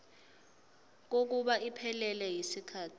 kokuba iphelele yisikhathi